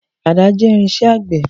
Àdá jẹ́ irinṣẹ́ àgbẹ̀.